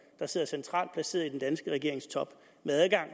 der sidder centralt placeret i den danske regerings top med adgang